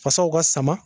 Fasaw ka sama